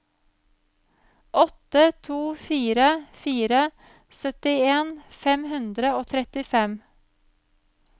åtte to fire fire syttien fem hundre og trettifem